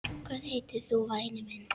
Hvað heitir þú væni minn?